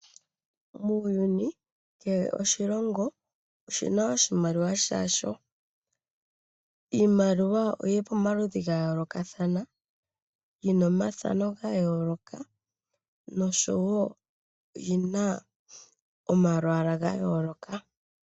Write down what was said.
Muuyuni kehe oshilongo oshina oshimaliwa sha sho. Iimaliwa oyili pamaludhi ga yoolokathana. Yina omathano ga yooloka noshowo oyi na omalwaala ga yooloka.